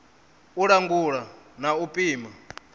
u langula na u pima